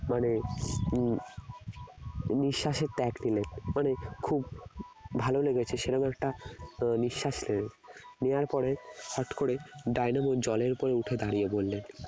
মানে নি~ নিঃশ্বাসের মানে খুব ভালো লেগেছে সেরকম একটা আহ নিঃশ্বাস নিলেন নেওয়ার পরে হঠাৎ করে ডায়নামো জলের উপরে উঠে দাঁড়িয়ে পড়লেন